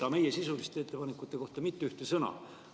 Aga meie sisuliste ettepanekute kohta mitte ühte sõna.